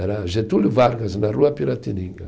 Era Getúlio Vargas, na rua Piratininga.